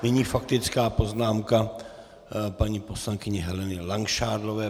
Nyní faktická poznámka paní poslankyně Heleny Langšádlová.